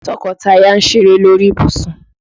Tọkọtaya ń ṣeré lórí ìbùsùn.